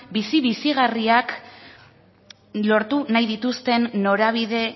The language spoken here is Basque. bizi bizigarriak lortu nahi dituzten norabide